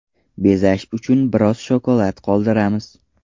Bezash uchun biroz shokolad qoldiramiz.